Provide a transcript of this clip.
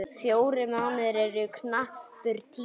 Fjórir mánuðir eru knappur tími.